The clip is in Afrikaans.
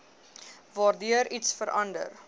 waardeur iets verander